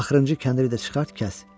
Axırıncı kəndiri də çıxart, kəs.